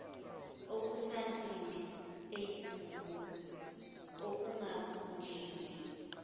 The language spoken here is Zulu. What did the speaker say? okusansimbi eyigugu okungabunjiwe